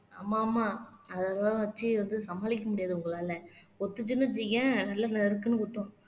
ஆமா ஆமா அதெல்லாம் வச்சு வந்து சமாளிக்க முடியாது உங்களால கொத்துச்சுன்னு வச்சுக்கயேன் நல்லா நறுக்குன்னு கொத்தும்